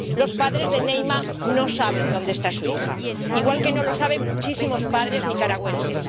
Los padres de Neyma no saben dónde está su hija, igual que no lo saben muchísimos padres nicaragüenses.